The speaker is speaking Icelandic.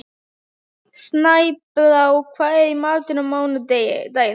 Snæbrá, hvað er í matinn á mánudaginn?